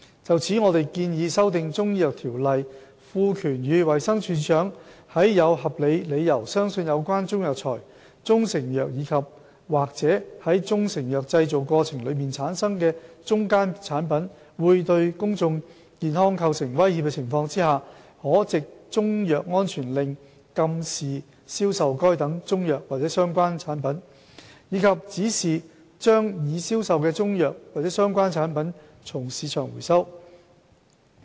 就此，我們建議修訂《條例》，賦權予衞生署署長在有合理理由相信有關中藥材、中成藥及/或在中成藥製造過程中產生的中間產品會對公眾健康構成威脅的情況下，可藉中藥安全令禁止銷售該等中藥或相關產品，以及指示把已銷售的中藥或相關產品從市場回收。